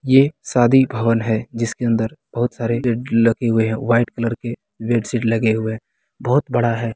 ये शादी भवन है जिसके अंदर बहुत सारे उम्म लगे हुए हैं व्हाइट कलर के बेडशीट लगे हुए है बहुत बड़ा है।